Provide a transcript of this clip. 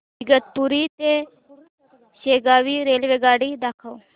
इगतपुरी ते शेगाव रेल्वेगाडी दाखव